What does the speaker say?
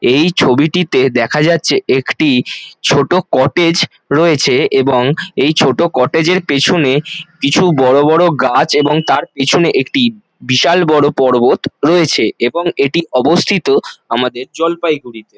এই ছবিটিতে দেখা যাচ্ছে একটি ছোট কটেজ রয়েছে এবং এই ছোট কটেজ -এর পেছনে কিছু বড় বড় গাছ এবং তার পেছনে একটি বিশাল বড় পর্বত রয়েছে এবং এটি অবস্থিত আমাদের জলপাইগুড়িতে।